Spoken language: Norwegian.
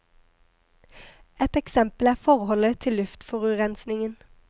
Ett eksempel er forholdet til luftforurensningen.